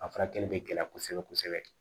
A furakɛli bɛ gɛlɛya kosɛbɛ kosɛbɛ